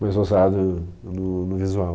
mais ousado no no visual.